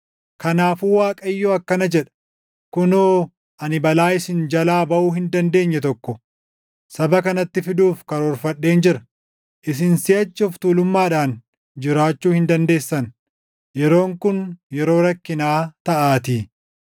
Kanaafuu Waaqayyo akkana jedha; “Kunoo ani balaa isin jalaa baʼuu hin dandeenye tokko saba kanatti fiduuf karoorfadheen jira. Isin siʼachi of tuulummaadhaan jiraachuu hin dandeessan; yeroon kun yeroo rakkinaa taʼaatii.